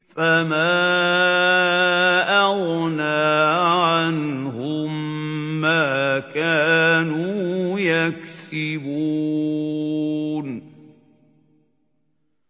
فَمَا أَغْنَىٰ عَنْهُم مَّا كَانُوا يَكْسِبُونَ